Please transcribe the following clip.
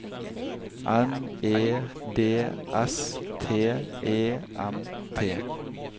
N E D S T E M T